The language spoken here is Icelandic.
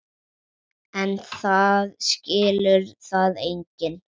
En það skilur það enginn.